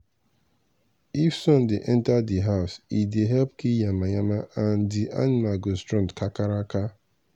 if sun dey enter di house e dey help kill yamayama and di animal go strong kakaraka.